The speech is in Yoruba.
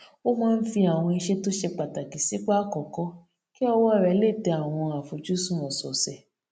ó máa ń fi àwọn iṣé tó ṣe pàtàkì sípò àkókó kí ọwó rè lè tẹ àwọn àfojúsùn òsòòsè